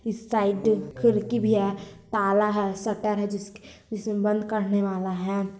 इस साइड खिड़की भी है ताला है शटर है जिसक जिसमे बंद करने वाला है।